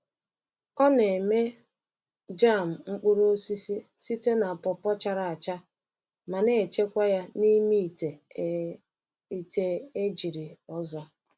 Ọ na-eme jam mkpụrụ osisi site na pawpaw chara acha ma na-echekwa ya n’ime ite e ite e jiri ọzọ.